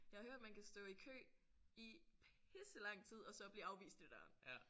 Jeg har hørt man kan stå i kø i pisse lang tid og så blive afvist i døren